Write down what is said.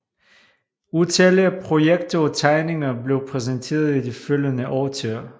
Utallige projekter og tegninger blev præsenteret i de følgende årtier